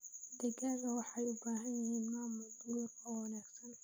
Digaagga waxay u baahan yihiin maamul guri oo wanaagsan.